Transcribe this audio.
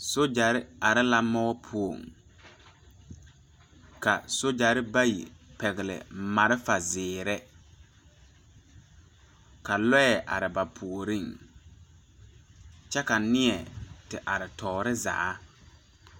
Sojare are la moɔ poɔ ka sojare bayi a pɛgle malfa zeere ka loɛ are ba puoriŋ kyɛ ka neɛ te are tɔɔre zaa.